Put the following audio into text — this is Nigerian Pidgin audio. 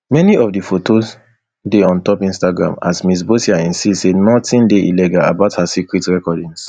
many of di fotos dey ontop instagram as ms boccia insist say nothing dey illegal about her secret recordings